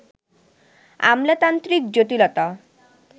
আমলাতান্ত্রিক জটিলতা